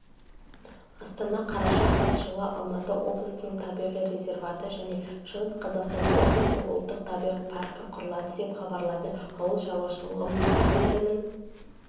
астана қараша қаз жылы алматы облысының табиғи резерваты және шығыс қазақстан облысының ұлттық табиғи паркі құрылады деп хабарлайды ауыл шаруашылығы министрлігінің